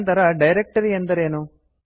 ನಂತರ ಡೈರಕ್ಟರಿ ಎಂದರೇನು